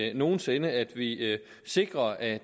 end nogen sinde at vi sikrer at